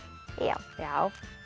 já